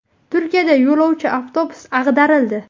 Turkiyada yo‘lovchi avtobusi ag‘darildi.